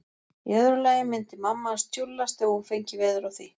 Í öðru lagi myndi mamma hans tjúllast ef hún fengi veður af því.